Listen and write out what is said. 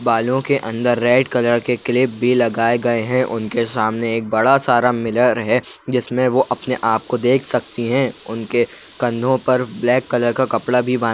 बालों के अंदर रेड कलर के क्लिप भी लगाए गए हैं उनके सामने एक बड़ा सारा मिरर है जिसमें वो अपने आप को देख सकती हैं उनके कंधों पर ब्लैक कलर का कपड़ा भी बां --